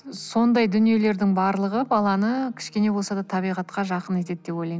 сондай дүниелердің барлығы баланы кішкене болса да табиғатқа жақын етеді деп ойлаймын